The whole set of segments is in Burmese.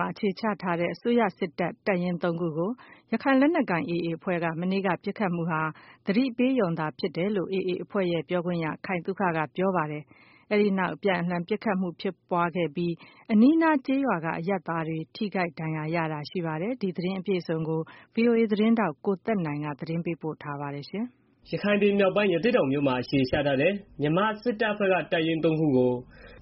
မှာ အခြေချထားတဲ့ အစိုးရစစ်တပ် တပ်ရင်း ၃ ခုကို ရခိုင်လက်နက်ကိုင် AA အဖွဲ့က မနေ့က ပစ်ခတ်မှုဟာ သတိပေးပစ်ခတ်မှု ဖြစ်တယ်လို့ AA အဖွဲ့ရဲ့ ပြောခွင့်ရသူ ခိုင်သုခက ပြောပါတယ်။ အဲဒီနောက် အပြန်အလှန်ပစ်ခတ်မှု ဖြစ်ပွားပြီး အနီးအနားကျေးရွာက အရပ်သားတွေ ထိခိုက်ဒဏ်ရာရတာတွေ ရှိပါတယ်။ ဒီသတင်းအပြည့်အစုံကိုတော့ ဗွီအိုအေသတင်းထောက် ကိုသက်နိုင်က ပေးပို့ထားပါတယ်။ ရခိုင်ပြည်နယ်မြောက်ပိုင်း ရသေ့တောင်မှာ အခြေချထားတဲ့ မြန်မာစစ်တပ်ဘက်က တပ်ရင်းသုံးခုကို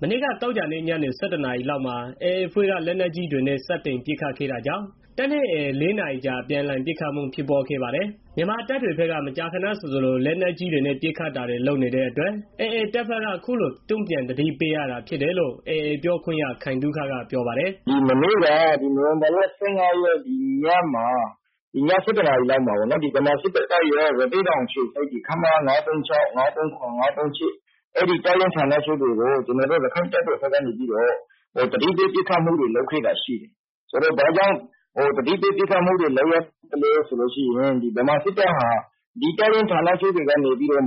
မနေ့ သောကြာည ၁၁ နာရီကျော်လောက်မှာ AA အဖွဲ့က လက်နက်ကြီးတွေနဲ့ စတင်ပစ်ခတ်ခဲ့တာကြောင့် တပ်နဲ့ AA ၄ နာရီကြာ အပြန်အလှန် ပစ်ခတ်မှု ဖြစ်ပွားခဲ့ပါတယ်။ မြန်မာတပ်တွေဘက်က မကြာခဏဆိုသလို လက်နက်ကြီးနဲ့ ပစ်ခတ်တာတွေ လုပ်နေတဲ့အတွက် AA တပ်ဘက်က အခုလို တုံ့ပြန်သတိပေးတာဖြစ်တယ်လို့ AA ပြောခွင့်ရသူ ခိုင်သုခက ပြောပါတယ်။ "မနေ့က နိုဝင်ဘာလ ၁၅ ရက်နေ့ည ၁၁ နာရီလောက်မှာ ရသေ့တောင်အခြေစိုက် ခမရ ၅၃၆၊ ၅၃၇၊ ၅၃၈ အဲဒီတပ်ရင်းဌာနချုပ်တွေကို ကျနော်တို့ ရခိုင့်တပ်တော် AA ကနေပြီးတော့ သတိပေးပစ်ခတ်မှုတွေ လုပ်ခဲ့တာရှိတယ်။ ဘာကြောင့် သတိပေးပစ်ခတ်မှု လုပ်ရတာလဲဆိုတော့ ဗမာစစ်တပ်ဟာ ဒီတပ်ရင်းဌာနချုပ်တွေက နေပြီးတော့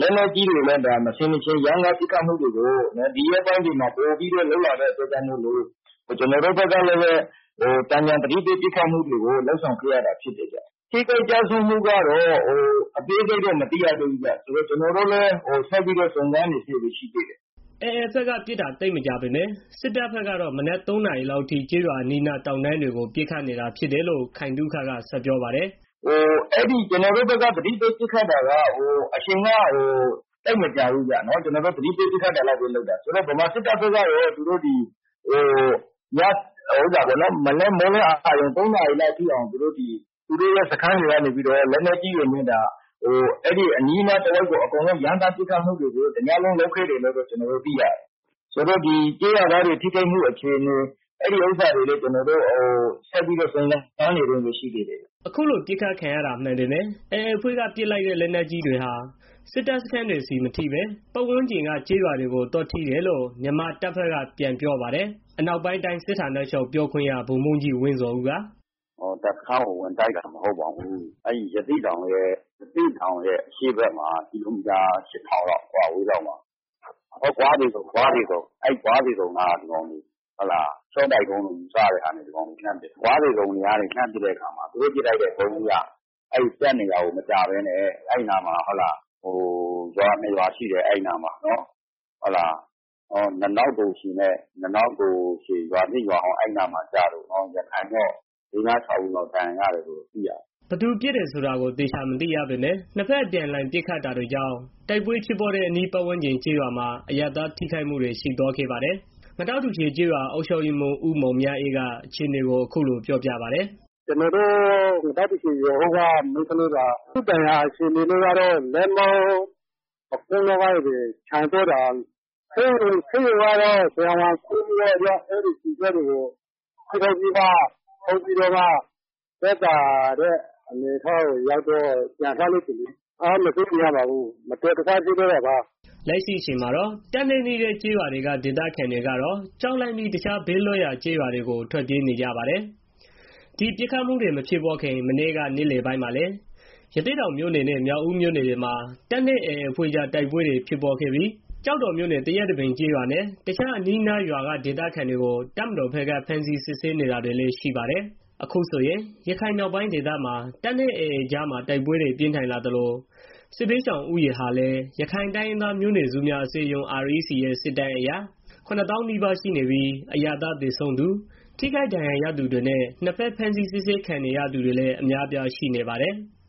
လက်နက်ကြီးတွေနဲ့ မဆင်မခြင် ရမ်းကား ပစ်ခတ်တာတွေကို ပိုပြီးတော့ လုပ်လာတာ ဖြစ်တဲ့အတွက်ကြောင့် ကျနော်တို့ဘက်ကလည်း သာမန်သတိပေး ပစ်ခတ်တာကို လုပ်ဆောင်ခဲ့ရတာဖြစ်တယ်။ ထိခိုက်ကျဆုံးမှုကတော့ အသေးစိတ် မသိရသေးဘူး၊ စုံစမ်းနေတုန်းပဲ ရှိသေးတယ်။" AA ဘက်ကပစ်တာ သိပ်မကြာပေမယ့် စစ်တပ်ဘက်ကတော့ မနက် ၃ နာရီလောက်အထိ ကျေးရွာအနီးအနား တောင်တန်းတွေကို ပစ်ခတ်နေတာဖြစ်တယ်လို့ ခိုင်သုခက ဆက်ပြောပါတယ်။ "ကျနော်တို့ဘက်က သတိပေး ပစ်ခတ်တာက အချိန်က သိပ်မကြာဘူးဗျာ။ ကျနော်တို့ သတိပေးပစ်ခတ်တာလောက်ပဲ လုပ်တာ။ ဗမာစစ်တပ်ဘက်ကတော့ သူတို့ ဒီမနက် မိုးလင်း အရုဏ် ၃ နာရီလောက်ထိအောင် သူတို့ရဲ့ စခန်းတွေကနေပြီးတော့ လက်နက်ကြီးတွေနဲ့ ကျေးရွာအနီးအနားတွေကို ရမ်းသန်းပစ်ခတ်မှုတွေ တညလုံး လုပ်ခဲ့တယ်လို့ သိရတယ်။ ဆိုတော့ ကျေးရွာသားတွေ ထိခိုက်မှု အခြေအနေကိုတော့ အခုထိ စုံစမ်းနေတုန်းပဲ ရှိသေးတယ်။" အခုလို ပစ်ခတ်ခံရတာ မှန်ပေမယ့် AA အဖွဲ့က ပစ်လိုက်တဲ့ လက်နက်ကြီးတွေဟာ စစ်တပ်စခန်းတွေဆီ သွားမထိဘဲ ပတ်ဝန်းကျင်က ကျေးရွာတွေကိုပဲ သွားကျတယ်လို့ မြန်မာစစ်တပ်ဘက်က ပြန်ပြောပါတယ်။ အနောက်ပိုင်းတိုင်းစစ်ဌာနချုပ် ပြောခွင့်ရ ဗိုလ်မှူးကြီး ဝင်းဇော်ဦးက "စခန်းကို ဝင်တိုက်တာတော့ မဟုတ်ပါဘူး။ အဲဒီ ရသေ့တောင်ရဲ့ အရှေ့ဘက် ကီလိုမီတာ ၈၀၀၀ လောက် အကွာအဝေးမှာရှိတဲ့ ဂွခြေတုန်ကနေပြီးတော့ ရှော့တိုက်ဒုံးလို့ ယူဆရတဲ့ ဟာတွေနဲ့ ဒီကောင်တွေ လှမ်းပစ်တာ။ အဲဒီကနေ လှမ်းပစ်တဲ့အခါမှာ သူတို့ပစ်လိုက်တဲ့ ဒုံးသီးက တပ်နေရာကို မကျဘဲနဲ့ အဲဒီနားမှာ ရွာနှစ်ရွာရှိတယ်၊ ငတောက်တူချေနဲ့ ငတောက်တူရွာဟောင်းဆိုပြီးတော့၊ အဲရွာကိုကျတယ်၊ ရခိုင်တွေ လေးငါးခြောက်ဦးလောက် ဒဏ်ရာရတယ်လို့ သိရတယ်။" လို့ ပြောပါတယ်။ ဘယ်သူပစ်တယ်ဆိုတာကို သေချာမသိရပေမယ့် နှစ်ဖက် အပြန်အလှန် ပစ်ခတ်တာတွေကြောင့် တိုက်ပွဲဖြစ်တဲ့ အနီးပတ်ဝန်းကျင်ကျေးရွာမှာ အရပ်သားထိခိုက်မှု ရှိသွားခဲ့ပါတယ်။ ငတောက်တူချေကျေးရွာ အုပ်ချုပ်ရေးမှူး ဦးမောင်မြအေးက အခြေအနေကို အခုလို ပြောပြပါတယ်။ “ကျနော်တို့ ငတောက်တူချေ ရွာဟောင်းက အမျိုးသမီးတယောက်မှာ သူ့ဒဏ်ရာကတော့ လက်မောင်း ပခုံးနားက ကျတာ။ ဆေးရုံကတော့ ဆရာဝန်က အဲဒီကျည်စတွေကို ခွဲထုတ်ပြီးမှ သက်သာတဲ့ အနေအထားကိုရောက်မှ ဆေးရုံကနေ ပြန်လွှတ်လိုက်တယ်။ ဒဏ်ရာကတော့ စိုးရိမ်စရာမရှိပါဘူး၊ မတော်တဆ ထိတာပါ။” လက်ရှိအချိန်မှာတော့ တပ်နဲ့နီးတဲ့ ကျေးရွာတွေက ဒေသခံတွေကတော့ ကြောက်လန့်ပြီး တခြား ဘေးလွတ်ရာ ကျေးရွာတွေကို ထွက်ပြေးနေကြပါတယ်။ ဒီပစ်ခတ်မှုတွေမဖြစ်ခင် မနေ့က နေ့လယ်ပိုင်းမှာလည်း ရသေ့တောင်မြို့နယ်နဲ့ မြောက်ဦးမြို့နယ်တွေမှာ တပ်နဲ့ AA အဖွဲ့ကြား တိုက်ပွဲတွေ ဖြစ်ခဲ့သေးပြီး ကျောက်တော်မြို့နယ် သရက်တပင်ကျေးရွာနဲ့ တခြား အနီးအနားရွာက ဒေသခံတွေကို တပ်မတော်ဘက်က ဖမ်းဆီးစစ်ဆေးနေတာတွေလည်း ရှိပါတယ်။ အခုဆိုရင် ရခိုင်မြောက်ပိုင်းဒေသမှာ တပ်နဲ့ AA ကြား တိုက်ပွဲတွေ ပြင်းထန်လာသလို စစ်ဘေးရှောင်ဦးရေဟာလည်း ရခိုင်တိုင်းရင်းသားမျိုးနွယ်စုများ အစည်းအရုံး (REC) ရဲ့ စစ်တမ်းအရ ၇ သောင်းနီးပါးရှိနေပြီး အရပ်သားသေဆုံးသူ၊ ထိခိုက်ဒဏ်ရာရသူတွေနဲ့ နှစ်ဖက် ဖမ်းဆီး စစ်ဆေးခံနေရသူတွေလည်း အများအပြား ရှိနေပါတယ်။